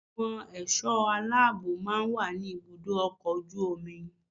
Àwọn ẹ̀ṣọ́ aláàbó máa ń wà ní ibùdó ọkọ̀ ojú omi.